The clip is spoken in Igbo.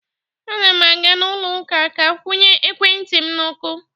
A na m aga n’ụlọ ụka ka kwụnye ekwentị m n’ọkụ.